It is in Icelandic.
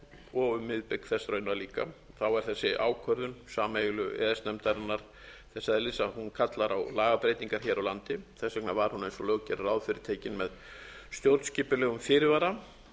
og um miðbik þess raunar líka er þessi ákvörðun sameiginlegu e e s nefndarinnar þess eðlis að hún kallar á lagabreytingar hér á landi þess vegna var hún eins og lög gera ráð fyrir tekin með stjórnskipulegum fyrirvara